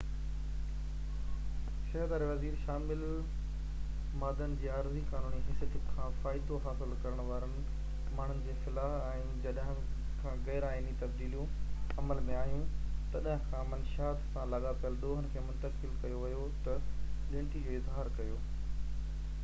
صحت واري وزير شامل مادن جي عارضي قانوني حيثيت کان فائدو حاصل ڪرڻ وارن ماڻهن جي فلاح ۽ جڏهن کان غير آئيني تبديليون عمل ۾ آهيون تڏهن کان منشيات سان لاڳاپليل ڏوهن کي منتقل ڪيو ويو تي ڳڻتي جو اظهار ڪيو